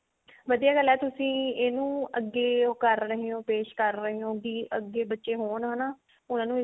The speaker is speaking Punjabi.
ਵਧੀਆ ਗੱਲ ਹੈ ਤੁਸੀਂ ਇਹਨੂੰ ਅੱਗੇ ਉਹ ਕਰ ਰਹੇ ਹੋ ਪੇਸ਼ ਕਰ ਰਹੇ ਹੋ ਵੀ ਅੱਗੇ ਬੱਚੇ ਹੋਣ ਹਨਾ ਉਹਨਾ ਨੂੰ